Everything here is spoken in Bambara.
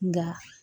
Nka